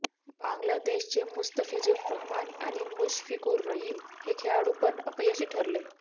बांगलादेशचे मुस्तफिजुर रहमान आणि मुशफिकुर रहिम हे खेळाडू पण अपयशी ठरले